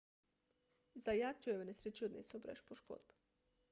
zayat jo je v nesreči odnesel brez poškodb